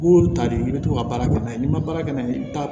M'olu ta de i bɛ to ka baara kɛ n'a ye n'i ma baara kɛ n'a ye i bɛ taa